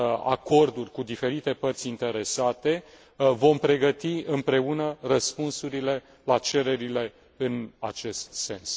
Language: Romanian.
acorduri cu diferite părți interesate, vom pregăti împreună răspunsurile la cererile în acest sens.